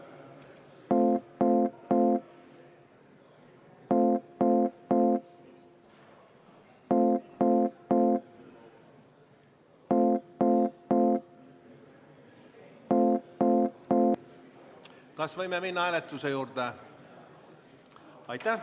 Kas võime minna hääletuse juurde?